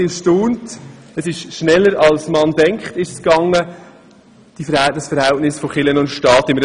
Nun war ich erstaunt, wie rasch wir das Verhältnis zwischen Kirche und Staat verändern.